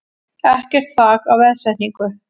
Ekkert þak á veðsetningu